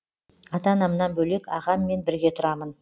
ата анамнан бөлек ағаммен бірге тұрамын